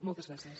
moltes gràcies